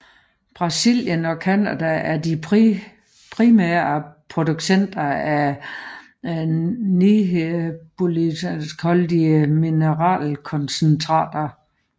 Brasilien og Canada er de primære producenter af niobiumholdige mineralkoncentrater